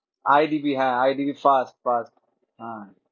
IDB হ্যাঁ IDB first first হ্যাঁ